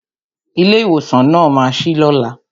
Ilé ìwòsàn náà ma sí lóla